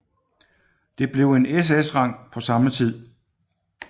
Det blev en SS rang på samme tid